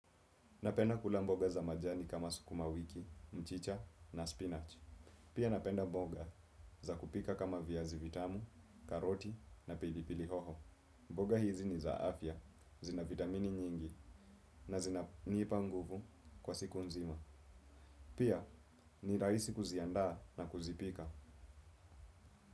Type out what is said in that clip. Napenda kula mboga za majani kama sukuma wiki, mchicha na spinach. Pia napenda mboga za kupika kama viazi vitamu, karoti na pilipili hoho. Mboga hizi ni za afya, zina vitamini nyingi na zina njipa nguvu kwa siku nzima. Pia ni raisi kuzianda na kuzipika.